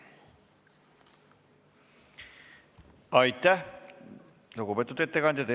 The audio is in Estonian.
Aitäh, lugupeetud ettekandja!